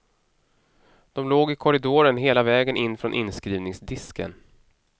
De låg i korridoren hela vägen in från inskrivningsdisken.